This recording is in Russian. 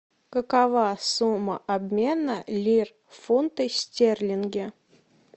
какова сумма обмена лир в фунты стерлинги